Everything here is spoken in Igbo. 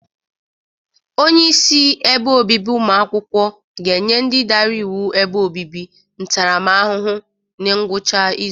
Onyeisi ebe obibi ụmụ akwụkwọ ga-enye ndị dara iwu ebe obibi ntaramahụhụ na ngwụcha ịzụ.